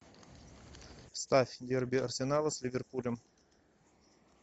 ставь дерби арсенала с ливерпулем